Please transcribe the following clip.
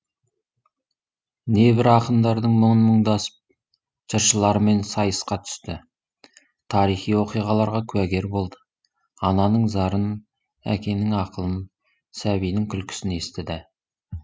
небір ақындардың мұңын мұңдасып жыршылармен сайысқа түсті тарихи оқиғаларға куәгер болды ананың зарын әкенің ақылын сәбидің күлкісін естіді